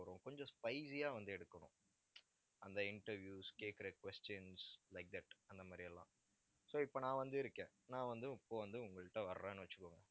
கொஞ்சம் spicy ஆ வந்து, எடுக்கணும் அந்த interviews கேக்குற questions like that அந்த மாதிரி எல்லாம். so இப்ப நான் வந்து இருக்கேன். நான் வந்து இப்ப வந்து உங்க கிட்ட வர்றேன்னு வச்சுக்கோங்க